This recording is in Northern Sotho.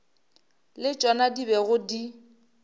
le tšona di bego di